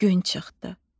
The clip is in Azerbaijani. Gün çıxdı.